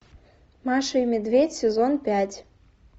маша и медведь сезон пять